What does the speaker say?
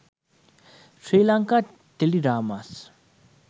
sri lanka teledramas